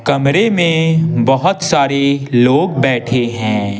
कमरे में बहुत सारे लोग बैठे हैं।